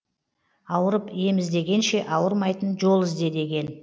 ауырып ем іздегенше ауырмайтын жол ізде деген